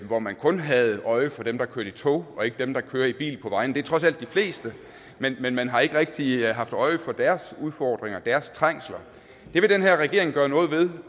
hvor man kun havde øje for dem der kører i tog og ikke dem der kører i bil på vejene det er trods alt de fleste men man har ikke rigtig haft øje for deres udfordringer deres trængsler det vil den her regering gøre noget ved